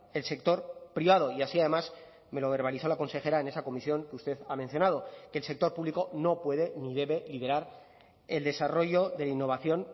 el sector privado y así además me lo verbalizó la consejera en esa comisión que usted ha mencionado que el sector público no puede ni debe liderar el desarrollo de innovación